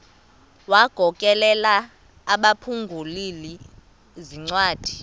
wagokelela abaphengululi zincwadi